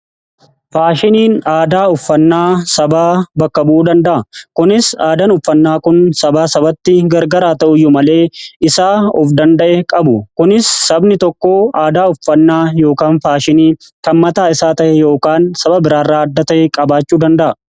Faashiniin aadaa uffannaa sabaa bakka bu'uu danda'a. Kunis aadaan uffannaa kun sabaa sabatti gargar haa ta'u iyyuu malee isaa of danda'e qabu. Kunis sabni tokko aadaa uffannaa yookaan faashinii kan mataa isaa ta'e yookaan saba biraa irraa adda ta'e qabaachuu danda'a.